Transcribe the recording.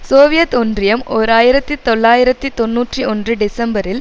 Soviet ஒன்றியம் ஓர் ஆயிரத்தி தொள்ளாயிரத்து தொன்னூற்றி ஒன்று டிசம்பரில்